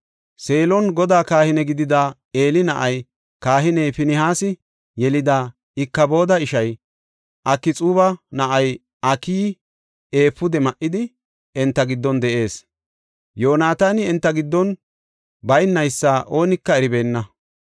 Seelon Godaa kahine gidida Eeli na7ay, kahiney Finihaasi yelida Ikabooda ishay, Akxuuba na7ay, Akiyi efuude ma77idi, enta giddon de7ees. Yoonataani enta giddon baynaysa oonika eribeenna.